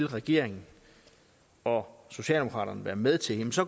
regeringen og socialdemokraterne vil være med til